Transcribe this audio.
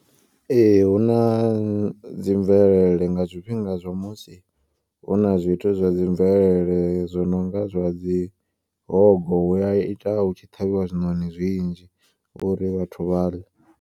Ee huna dzi mvelele nga zwifhinga zwa musi huna zwithu zwa dzi mvelele. Zwononga zwa dzi hogo huya ita hutshi ṱhavhiwa zwiṋoni zwinzhi uri vhathu vha ḽe.